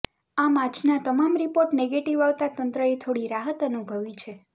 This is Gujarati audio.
આમ આજના તમામ રિપોર્ટ નેગેટીવ આવતા તંત્રએ થોડી રાહત અનુભવી છે